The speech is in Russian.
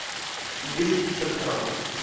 двести пятьдесят грамм